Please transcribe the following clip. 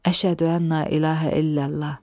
Əşhədü ənnə iləhə illallah.